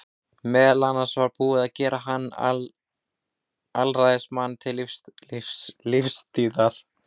Meðal annars var búið að gera hann að alræðismanni til lífstíðar.